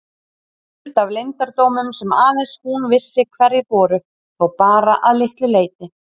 Full af leyndardómum sem aðeins hún vissi hverjir voru þó bara að litlu leyti.